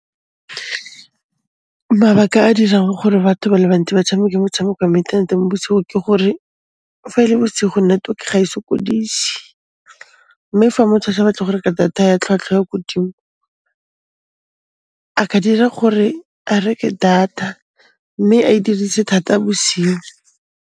Mabaka a dirang gore batho ba le bantsi ba tshameke motshameko wa mo ithaneteng bosigo ke gore fa e le bosigo, network ga e sokodise, mme fa motho a sa batle go reka data ya tlhwatlhwa e ko 'dimo, a ka dira gore a reke data mme a e dirise thata bosiu.